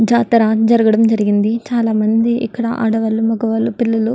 జాతర జరగడం జరిగింది చాలా మంది ఇక్కడ ఆడవాళ్ళు మగవాళ్ళు పిల్లలు.